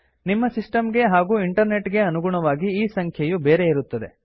ನಿಮ್ಮ ಸಿಸ್ಟಮ್ ಗೆ ಹಾಗೂ ಇಂಟರ್ನೆಟ್ ಗೆ ಅನುಗುಣವಾಗಿ ಈ ಸಂಖ್ಯೆಯು ಬೇರೆಯಿರುತ್ತದೆ